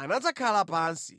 anadzakhala pansi.